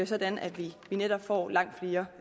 sådan at vi netop får langt flere